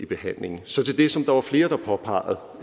behandlingen så til det som der var flere der påpegede